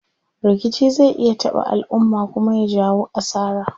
Rikici zai iya taɓa alumma kuma ya jawo asara.